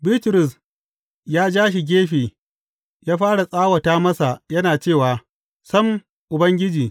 Bitrus ya ja shi gefe ya fara tsawata masa yana cewa, Sam, Ubangiji!